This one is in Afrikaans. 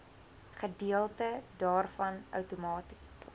gedeelte daarvan outomaties